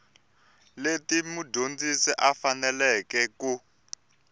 leti mudyondzi a faneleke ku